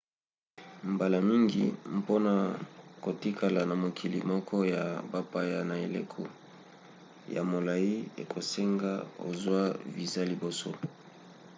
mbala mingi mpona kotikala na mokili moko ya bapaya na eleko ya molai ekosenga ozwa viza liboso